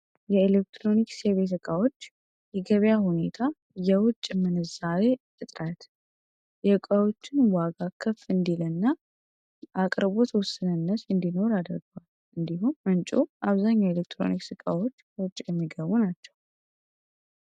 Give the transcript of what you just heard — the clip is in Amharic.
የኤሌክትሮኒክስ የቤት እቃዎች የገበያ ሁኔታ የውጭ ምንዛሪ እጥረት የእቃዎችን ዋጋ ከፍ እንዲልና አቅርቦት ውስንነት እንዲኖር አድርጎ እንዲሁም ምንጮች አብዛኛው የኤሌክትሮኒክስ እቃዎች ከውጭ የሚገቡ ናቸው።